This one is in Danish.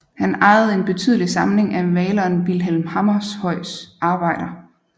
Han ejede en betydelig samling af maleren Vilhelm Hammershøis arbejder